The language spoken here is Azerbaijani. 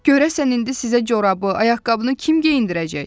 Görəsən indi sizə corabı, ayaqqabını kim geyindirəcək?